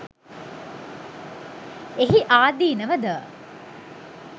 එහි ආදීනව ද